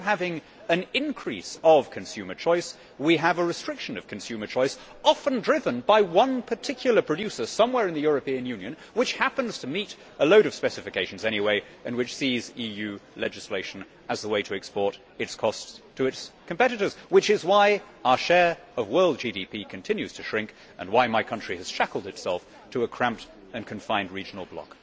Instead of having an increase of consumer choice, we have a restriction of consumer choice, often driven by one particular producer somewhere in the European Union which happens to meet a load of specifications anyway and which sees EU legislation as the way to export its costs to its competitors. This is why our share of world GDP continues to shrink and how my country has shackled itself to a cramped and confined regional bloc.